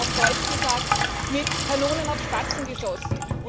Es wird, auf Deutsch gesagt, mit Kanonen auf Spatzen geschossen.